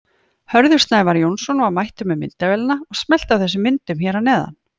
Hörður Snævar Jónsson var mættur með myndavélina og smellti af þessum myndum hér að neðan.